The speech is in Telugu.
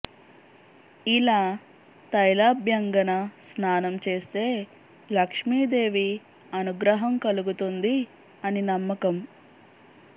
ఇలా తైలాభ్యంగన స్నానం చేస్తే లక్ష్మీ దేవి అనుగ్రహం కలుగుతుంది అని నమ్మకం